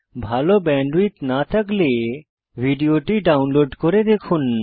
ভাল ব্যান্ডউইডথ না থাকলে ভিডিওটি ডাউনলোড করে দেখুন